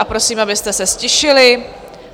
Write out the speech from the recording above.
A prosím, abyste se ztišili.